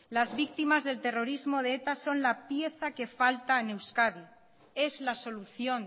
las víctimas del terrorismo de eta son la pieza que falta en euskadi es la solución